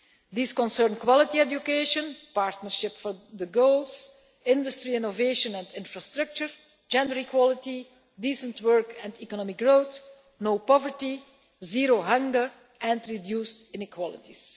These concern quality education, partnership for the goals, industry innovation and infrastructure, gender equality, decent work and economic growth, no poverty, zero hunger and reduced inequalities.